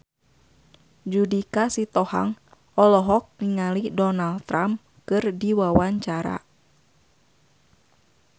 Judika Sitohang olohok ningali Donald Trump keur diwawancara